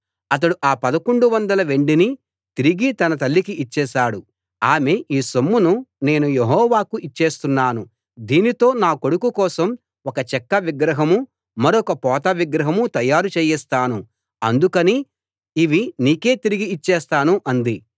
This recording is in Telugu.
అతడు ఆ పదకొండు వందల వెండిని తిరిగి తన తల్లికి ఇచ్చేశాడు ఆమె ఈ సొమ్మును నేను యెహోవాకు ఇచ్చేస్తున్నాను దీనితో నా కొడుకు కోసం ఒక చెక్క విగ్రహమూ మరొక పోత విగ్రహమూ తయారు చేయిస్తాను అందుకని ఇవి నీకే తిరిగి ఇచ్చేస్తాను అంది